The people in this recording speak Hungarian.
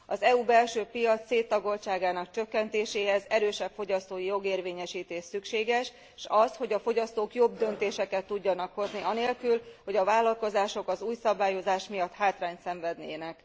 Az uniós belső piac széttagoltságának csökkentéséhez erősebb fogyasztói jogérvényesítés szükséges, s az, hogy a fogyasztók jobb döntéseket tudjanak hozni anélkül, hogy a vállalkozások az új szabályozás miatt hátrányt szenvednének.